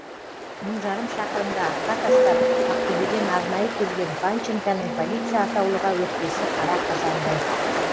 мың жарым шақырымды артқа тастап ақтөбеден арнайы келген панченконың полиция атаулыға өкпесі қара қазандай